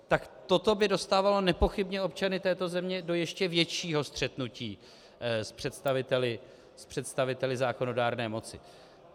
Tak toto by dostávalo nepochybně občany této země do ještě většího střetnutí s představiteli zákonodárné moci.